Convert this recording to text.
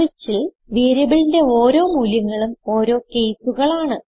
switchൽ വേരിയബിളിന്റെ ഓരോ മൂല്യങ്ങളും ഓരോ കേസുകളാണ്